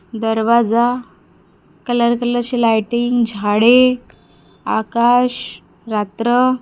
दरवाजा कलर कलरची लाइटिंग झाडे आकाश रात्र--